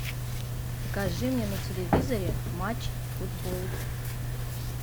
покажи мне на телевизоре матч футбол